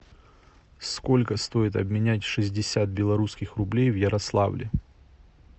сколько стоит обменять шестьдесят белорусских рублей в ярославле